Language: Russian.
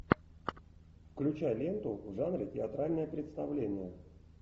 включай ленту в жанре театральное представление